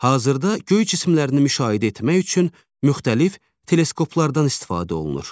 Hazırda göy cisimlərini müşahidə etmək üçün müxtəlif teleskoplardan istifadə olunur.